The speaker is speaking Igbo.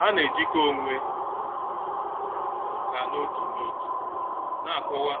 Ha na-ejikọ onwe ha n'otu n'otu na-akọwa